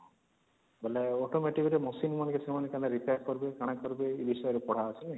ବେଲେ automotive ରେ machine repair କରିବି କଣ କରିବି ଏ ବିଷୟରେ ପଢା ହଉଚି ନାଇଁ